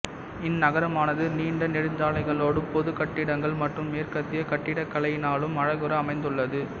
இந்நகரமானது நீண்ட நெடுஞ்சாலைகளோடும் பொதுக் கட்டிடங்கள் மற்றும் மேற்கத்திய கட்டிடக்கலையினாலும் அழகுர அமைந்துள்ளது